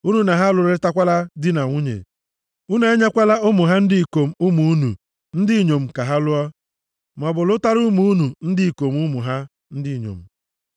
Unu na ha alụrịtakwala di na nwunye, unu enyekwala ụmụ ha ndị ikom ụmụ unu ndị inyom ka ha lụọ, maọbụ lụtara ụmụ unu ndị ikom ụmụ ha ndị inyom.